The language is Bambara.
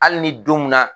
Hali ni don mun na